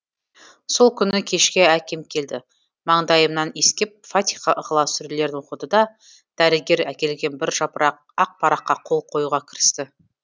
сол күні кешке әкем келді маңдайымнан иіскеп фатиха ыхлас сүрелерін оқыды да дәрігер әкелген бір жапырақ ақ параққа қол қоюға кірісті